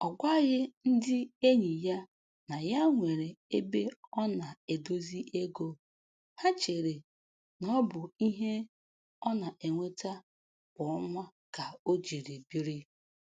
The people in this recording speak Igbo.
Ọ gwaghị ndị enyị ya na ya nwere ebe ọ na-edozi ego, ha cheere n'ọbụ ihe ọ na-enweta kwa ọnwa ka o jiri biri